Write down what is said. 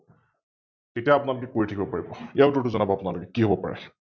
তেতিয়া আপোনালোকে কৰি থাকিব পাৰিব, ইয়াৰ উত্তৰটো যনাব আপোনালোকে কি হব পাৰে?